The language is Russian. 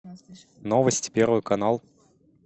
новости первый канал